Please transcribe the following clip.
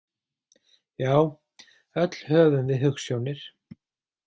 Já, öll höfum við hugsjónir.